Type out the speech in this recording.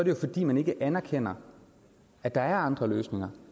jo fordi man ikke anerkender at der er andre løsninger